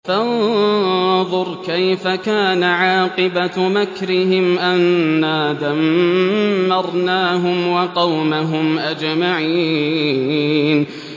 فَانظُرْ كَيْفَ كَانَ عَاقِبَةُ مَكْرِهِمْ أَنَّا دَمَّرْنَاهُمْ وَقَوْمَهُمْ أَجْمَعِينَ